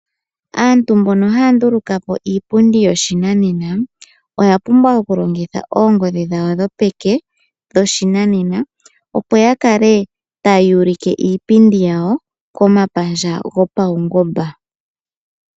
Aantu mboka haya nduluka po iipundi yoshinanena oyapumbwa okulongitha oongodhi dhawo dhopeke dhoshinanena opo ya kale taya ulike iipidi yawo komapandja gopaungomba.